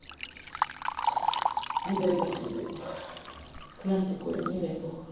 не дай бог не дай бог к нам такое не дай бог